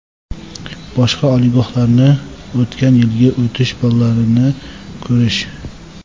Boshqa oliygohlarni o‘tgan yilgi o‘tish ballarini ko‘rish.